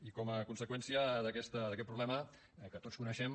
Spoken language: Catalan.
i com a conseqüència d’aquest problema que tots coneixem